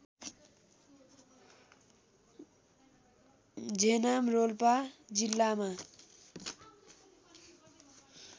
झेनाम रोल्पा जिल्लामा